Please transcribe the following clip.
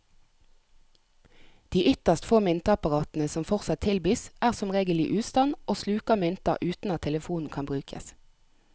De ytterst få myntapparatene som fortsatt tilbys, er som regel i ustand og sluker mynter uten at telefonen kan brukes.